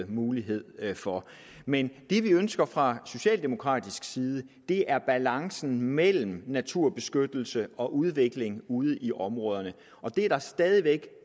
mulighed for men det vi ønsker fra socialdemokratisk side er balance mellem naturbeskyttelse og udvikling ude i områderne og det er der stadig væk